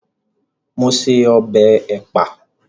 Mo se ọbẹ̀ ẹ̀pà